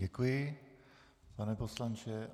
Děkuji, pane poslanče.